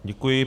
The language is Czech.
Děkuji.